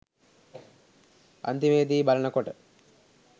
අන්තිමේදි බලනකොට